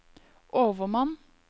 overmann